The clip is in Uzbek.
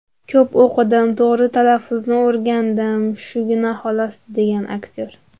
Ko‘p o‘qidim, to‘g‘ri talaffuzni o‘rgandim, shugina xolos”, degan aktyor.